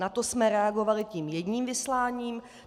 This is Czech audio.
Na to jsme reagovali tím jedním vysláním.